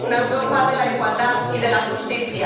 una Europa de la igualdad y de la justicia.